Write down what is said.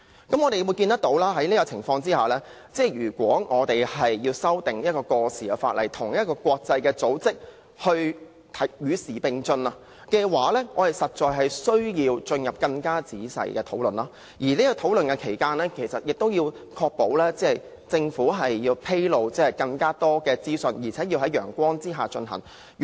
在這情況之下，我們要修訂一項過時的法例，與國際組織的標準與時並進的話，我們實在需要進行更仔細的審議，而其間亦要確保政府披露更多資訊，在陽光之下進行討論。